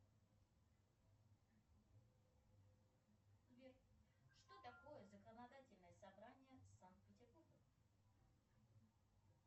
сбер что такое законодательное собрание санкт петербурга